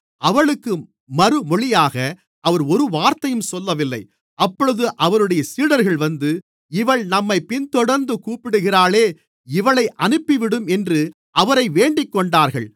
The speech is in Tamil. அவளுக்கு மறுமொழியாக அவர் ஒரு வார்த்தையும் சொல்லவில்லை அப்பொழுது அவருடைய சீடர்கள் வந்து இவள் நம்மைப் பின்தொடர்ந்து கூப்பிடுகிறாளே இவளை அனுப்பிவிடும் என்று அவரை வேண்டிக்கொண்டார்கள்